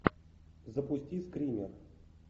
запусти скример